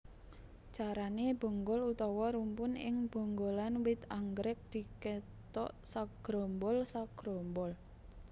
Carané bonggol utawa rumpun ing bonggolan wit anggrèk dikethok sagrombol sagrombol